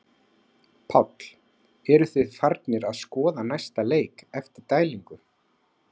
Páll: Eruð þið farnir að skoða næsta leik eftir dælingu?